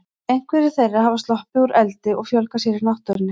Einhverjar þeirra hafa sloppið úr eldi og fjölgað sér í náttúrunni.